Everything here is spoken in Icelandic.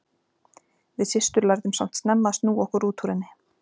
Við systur lærðum samt snemma að snúa okkur út úr henni.